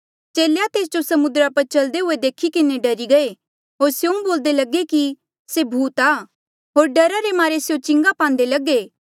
चेले तेस जो समुद्रा पर चल्दे हुए देखी किन्हें डरी गये होर स्यों बोल्दे लगे कि से भूत आ होर डरा रे मारे स्यों चिंगा पान्दे लगे